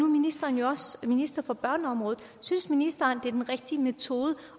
ministeren jo også minister for børneområdet synes ministeren det er den rigtige metode